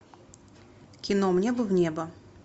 кино мне бы в небо